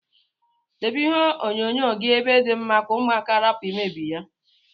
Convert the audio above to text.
Debe ihe onyo nyo gi ebe di mma ka ụmụaka rapu imebi ya.